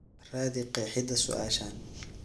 raadi qeexida su'aashan